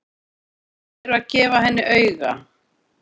Þær eru að gefa henni auga.